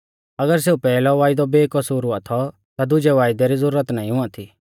अगर सेऊ पैहलौ वायदौ बेकसूर हुआ थौ ता दुजै वायदै री ज़ुरत नाईं हुआ थी